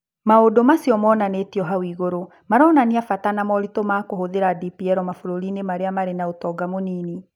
Maũndũ macio mana monanĩtio hau igũrũ maronania bata na moritũ ma kũhũthĩra DPL mabũrũri-inĩ marĩa marĩ na ũtonga mũnini.